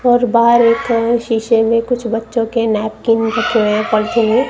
और बाहर एक शीशे में कुछ बच्चो के नैपकिन रखे हुए हैं पॉलिथिन में।